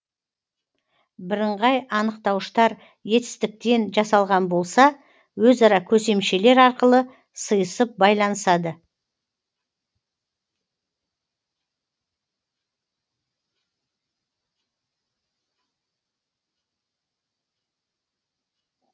бірыңғай анықтауыштар етістіктен жасалған болса өзара көсемшелер арқылы сыйысып байланысады